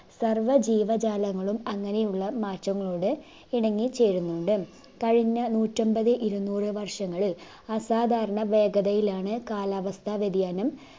സർവ ജീവജാലങ്ങളും അങ്ങനെയുള്ള മാറ്റങ്ങളോട് ഇണങ്ങിച്ചേരുന്നുണ്ട് കഴിഞ്ഞ നൂറ്റമ്പത് ഇരുന്നൂർ വർഷങ്ങളിൽ അസാധാരണ വേഗതയിലാണ് കാലാവസ്ഥ വ്യതിയാനം